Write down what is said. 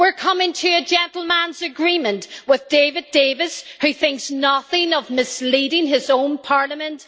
we're coming to a gentlemen's agreement', says David Davis, who thinks nothing of misleading his own parliament.